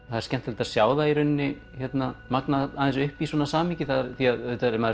það er skemmtilegt að sjá það í rauninni magnað aðeins upp í svona samhengi því auðvitað er maður